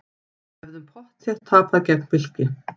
Hefðum pottþétt tapað gegn Fylki